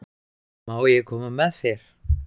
Má ég koma með þér?